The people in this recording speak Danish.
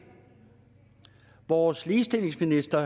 vores ligestillingsminister